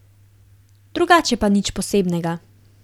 Drugače pa nič posebnega.